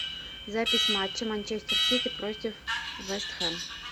запись матча манчестер сити против вест хэм